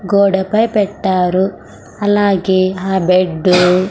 గోడపై పెట్టారు అలాగే హా బెడ్డు --